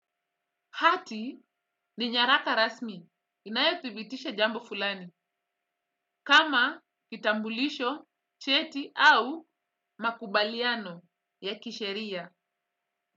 Hati ni nyaraka rasmi. Inayothibitisha jambo fulani. Kama kitambulisho cheti au makubaliano ya kisheria.